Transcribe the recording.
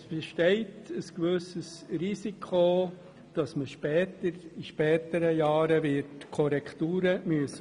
Es besteht ein gewisses Risiko, dass man in späteren Jahren die Werte wird korrigieren müssen.